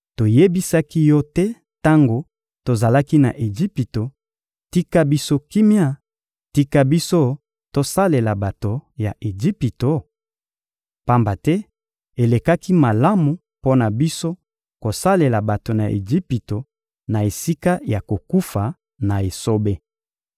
Toyebisaki yo te tango tozalaki na Ejipito: «Tika biso kimia, tika biso tosalela bato ya Ejipito?» Pamba te elekaki malamu mpo na biso kosalela bato ya Ejipito na esika ya kokufa na esobe.